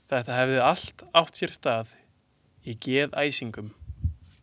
Þetta hefði allt átt sér stað í geðæsingu.